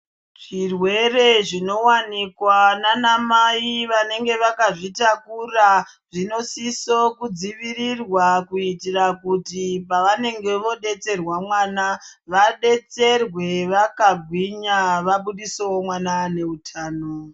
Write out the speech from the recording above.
Zvirwere zvinowanikwa nana mai vanenge vakazvitakura dzinosisa kudzivirirwa kuitira kuti pavanenge vodetserwa mwana vadetsereke vakagwinya vabudisewo mwana ane hutano.